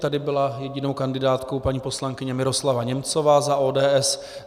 Tady byla jedinou kandidátkou paní poslankyně Miroslava Němcová za ODS.